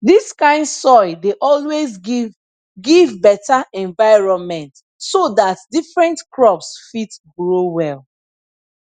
dis kind soil dey always give give beta environment so dat different crops fit grow well